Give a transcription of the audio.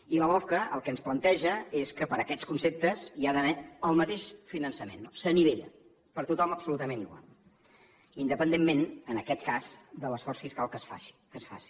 i la lofca el que ens planteja és que per aquests conceptes hi ha d’haver el mateix finançament s’anivella per a tothom absolutament igual independentment en aquest cas de l’esforç fiscal que es faci